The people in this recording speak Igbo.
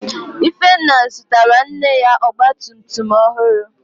Ifenna zụtara nne ya Ọgba tum tum ọhụrụ